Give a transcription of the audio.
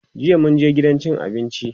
jiya mun je gidan cin abinci